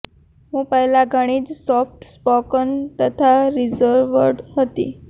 હું પહેલાં ઘણી જ સોફ્ટ સ્પોકન તથા રિઝવર્ડ હતી